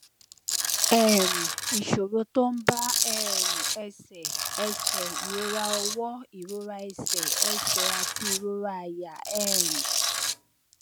um ìṣòro tó ń bá um ẹsè ẹsè ìrora ọwó ìrora ẹsè ẹsè àti ìrora àyà um